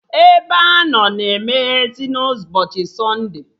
Ebeanọ na emeyezị na ụbọchị sọnde